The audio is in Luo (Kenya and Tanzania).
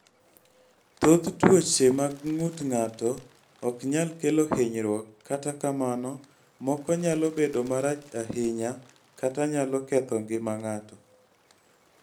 Thoth tuoche mag ng�ut ng�ato ok nyal kelo hinyruok, kata kamano, moko nyalo bedo marach ahinya kata nyalo ketho ngima ng�ato.